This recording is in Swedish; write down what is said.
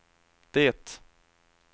det